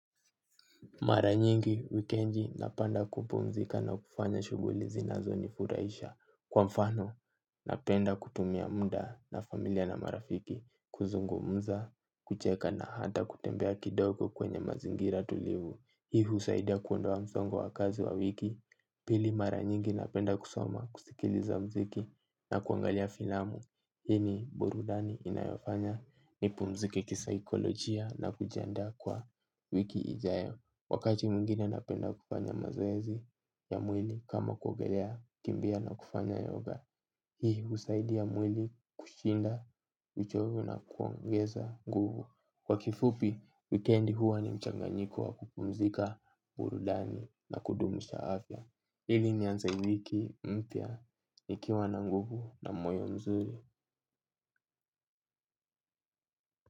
Mara nyingi wikenji napanda kupumzika na kufanya shuguli zinazo nifuraisha kwa mfano napenda kutumia muda na familia na marafiki kuzungumza kucheka na hata kutembea kidogo kwenye mazingira tulivu. Hii husaidia kuondoa msongo wa kazi wa wiki. Pili mara nyingi napenda kusoma kusikiliza mziki na kuangalia filamu hii ni burudani inayofanya nipumzike kisaikolojia na kujiandaa kwa wiki ijayo. Wakati mwingine napenda kufanya mazoezi ya mwili kama kuogelea kimbia na kufanya yoga. Hii husaidia mwili kushinda uchovu na kuongeza nguvu. Kwa kifupi, wikendi huwa ni mchanganyiko wa kupumzika burudani na kudumusha afya. Hili nianze wiki, mpya, nikiwa na nguvu na moyo mzuri.